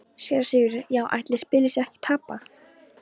SÉRA SIGURÐUR: Já, ætli spilið sé ekki tapað.